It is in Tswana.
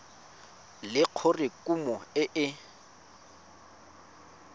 le gore kumo e ne